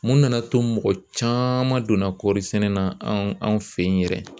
Mun nana to mɔgɔ caman donna kɔɔri sɛnɛ na anw fɛ yen yɛrɛ